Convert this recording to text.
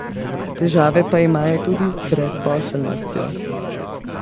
Težave pa imajo tudi z brezposelnostjo.